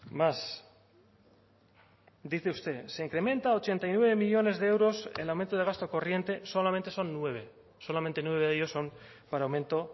más dice usted se incrementa ochenta y nueve millónes de euros el aumento de gasto corriente solamente son nueve solamente nueve de ellos son para aumento